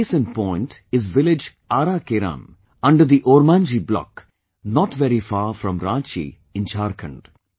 A case in point is village Aara Keram under the Ormanjhi block, not very far from Ranchi in Jharkhand